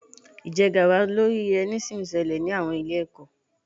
Ìjẹgàba lórí ẹni sì ń ṣẹlẹ̀ ní àwọn ilé-ẹ̀kọ́.